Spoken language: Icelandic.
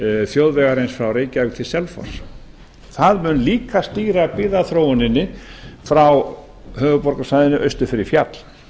þjóðvegarins frá reykjavík til selfoss það mun líka stýra byggðaþróuninni frá höfuðborgarsvæðinu austur fyrir fjall